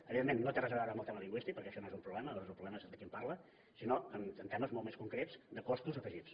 evidentment no té res a veure amb el tema lingüístic perquè això no és un problema és un problema de qui en parla sinó en temes molt més concrets de costos afegits